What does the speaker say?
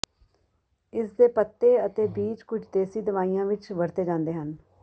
ਇਸ ਦੇ ਪੱਤੇ ਅਤੇ ਬੀਜ ਕੁਝ ਦੇਸੀ ਦਵਾਈਆਂ ਵਿੱਚ ਵਰਤੇ ਜਾਂਦੇ ਹਨ